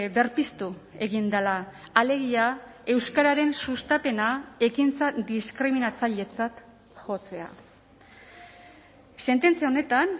berpiztu egin dela alegia euskararen sustapena ekintza diskriminatzailetzat jotzea sententzia honetan